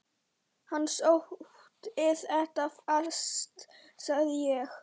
Hann sótti þetta fast sagði ég.